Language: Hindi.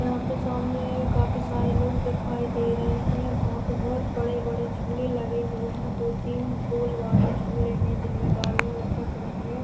यहां पे सामने काफी सारे लोग दिखाई दे रहे हैं वहां पे बहुत बड़े-बड़े झूले लगे हुए हैं दो तीन गोल वाली झूले हैं जिनमें डालिया लटक रही है।